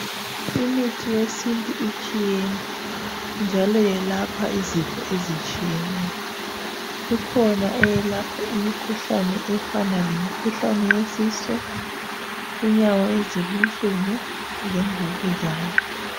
Imithi yesintu itshiyene njalo yelapha izifo ezitshiyeneyo. Ikhona eyelapha imikhuhlane efana lemikhuhlane yesisu, inyawo ezibuhlungu kanye lemvukuzane.